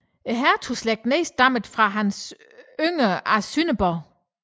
Hertugslægten nedstammede fra Hans den yngre af Sønderborg